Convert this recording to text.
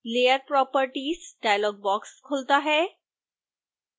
layer properties dialog box खुलता है